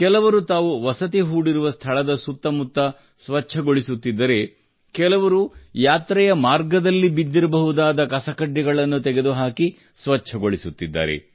ಕೆಲವರು ತಾವು ವಸತಿ ಹೂಡಿರುವ ಸ್ಥಳದ ಸುತ್ತಮುತ್ತ ಸ್ವಚ್ಛಗೊಳಿಸುತ್ತಿದ್ದರೆ ಕೆಲವರು ಯಾತ್ರೆಯ ಮಾರ್ಗದಲ್ಲಿ ಬಿದ್ದಿರಬಹುದಾದ ಕಸಕಡ್ಡಿಗಳನ್ನು ತೆಗೆದುಹಾಕಿ ಸ್ವಚ್ಛಗೊಳಿಸುತ್ತಿದ್ದಾರೆ